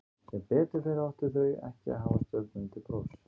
Sem betur fer áttu þau ekki að hafa stjörnurnar til prófs.